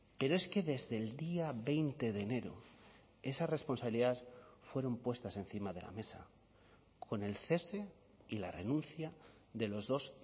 pero es que desde el día veinte de enero esas responsabilidades fueron puestas encima de la mesa con el cese y la renuncia de los dos